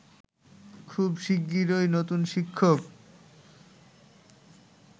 খুব শিগগিরই নতুন শিক্ষক